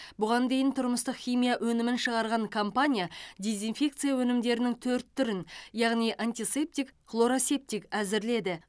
бұған дейін тұрмыстық химия өнімін шығарған компания дезинфекция өнімдерінің төрт түрін яғни антисептик хлоросептик әзірледі